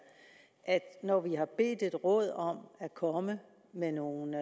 at når vi har bedt et råd om at komme med nogle